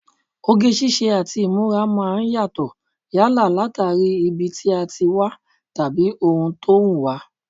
Oge ṣíṣe àti ìmúra máa ń yàtọ̀ yálà látàrí ibi tí a ti wá tàbí ohun tó wùn wá